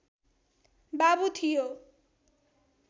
बाबु थियो